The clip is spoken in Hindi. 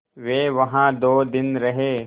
वे वहाँ दो दिन रहे